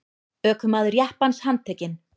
Ökumaður jeppans handtekinn